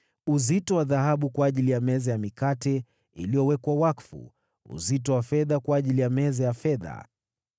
uzito wa dhahabu kwa ajili ya meza ya mikate iliyowekwa wakfu, uzito wa fedha kwa ajili ya meza ya fedha;